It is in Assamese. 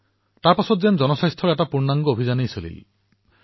ইয়াৰ পিছত যেন জনস্বাস্থ্যক লৈ এক অভিযানৰ সৃষ্টি হল